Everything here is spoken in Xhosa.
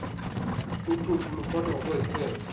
uthuthu luphathwa ngokwezithethe